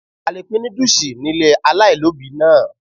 A le pín núdùsì ni ilé aláìlóbìí náà.